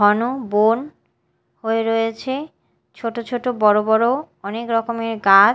ঘন বোন হয়ে রয়েছে ছোট ছোট বড় বড় অনেক রকমের গাছ।